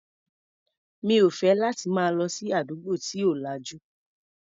Mi ò fẹ́ láti máa lọ sí àdúgbò tí ò lajú.